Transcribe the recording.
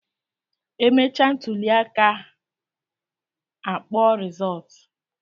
E mechaa ntụlịaka a kpọọ rizọọtụ